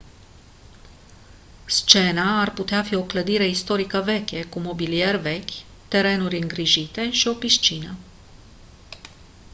scena ar putea fi o clădire istorică veche cu mobilier vechi terenuri îngrijite și o piscină